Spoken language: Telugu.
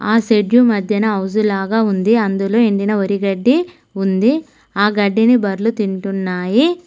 ఆ షెడ్డు మధ్యన హౌస్ లాగా ఉంది అందులో ఎండిన వరిగడ్డి ఉంది ఆ గడ్డిని బర్లు తింటున్నాయి.